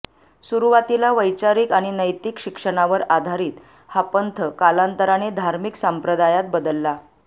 सुरुवातीला वैचारिक आणि नैतिक शिक्षणांवर आधारित हा पंथ कालांतराने धार्मिक संप्रदायात बदलला